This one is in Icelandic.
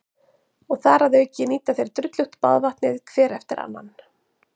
Og þar að auki nýta þeir drullugt baðvatnið hver eftir annan.